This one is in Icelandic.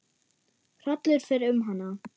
Hrollur fer um hana.